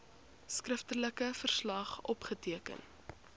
skriftelike verslag opgeteken